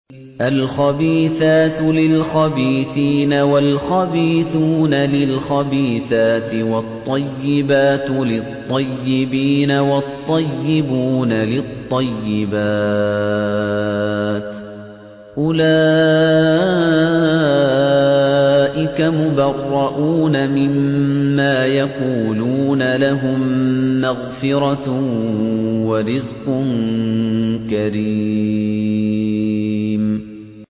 الْخَبِيثَاتُ لِلْخَبِيثِينَ وَالْخَبِيثُونَ لِلْخَبِيثَاتِ ۖ وَالطَّيِّبَاتُ لِلطَّيِّبِينَ وَالطَّيِّبُونَ لِلطَّيِّبَاتِ ۚ أُولَٰئِكَ مُبَرَّءُونَ مِمَّا يَقُولُونَ ۖ لَهُم مَّغْفِرَةٌ وَرِزْقٌ كَرِيمٌ